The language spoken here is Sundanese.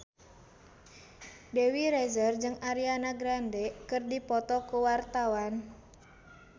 Dewi Rezer jeung Ariana Grande keur dipoto ku wartawan